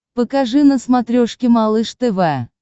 покажи на смотрешке малыш тв